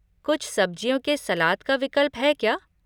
कुछ सब्ज़ियों के सलाद का विकल्प है क्या?